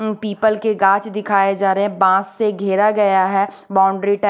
People के गांछ दिखाए जा रहे है। बांस से घेरा गया है बाउंड्री टाई--